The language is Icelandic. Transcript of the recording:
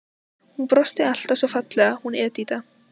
Hún brosti alltaf svo fallega, hún Edita.